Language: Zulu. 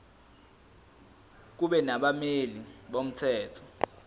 kube nabameli bomthetho